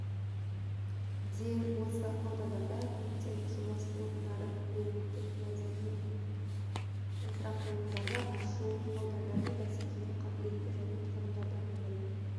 де осы аудандарда көптеп жұмыс орындарын әлеуметтік-мәдени инфрақұрылымдар ашу аудандар бәсекеге қабілетті және тұрғындардың өмір